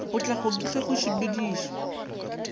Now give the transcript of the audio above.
potlako ke ge go sepedišwa